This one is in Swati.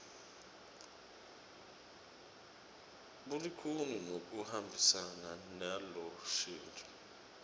bulikhuni nekuhambisana nelushintso